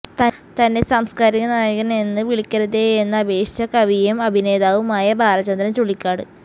തന്നെ സാംസ്കാരിക നായകന് എന്ന് വിളിക്കരുതേയെന്ന് അപേക്ഷിച്ച് കവിയും അഭിനേതാവുമായ ബാലചന്ദ്രന് ചുള്ളിക്കാട്